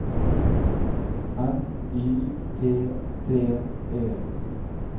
N Y T T E